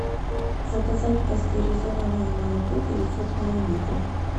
заказать пастеризованное молоко девятьсот миллилитров